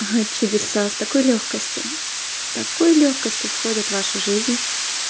чудеса с такой лёгкостью с такой лёгкостью входит в вашу жизнь